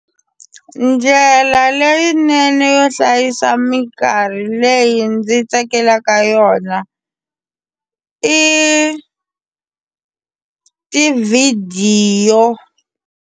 Ndlela leyinene yo hlayisa minkarhi leyi ndzi tsakelaka yona i tivhidiyo.